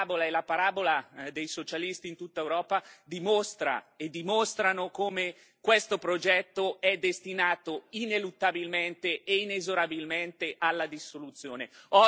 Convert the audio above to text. La sua parabola e la parabola dei socialisti in tutta Europa dimostrano come questo progetto è destinato ineluttabilmente e inesorabilmente alla dissoluzione.